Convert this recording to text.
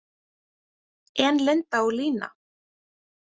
En Linda og Lína?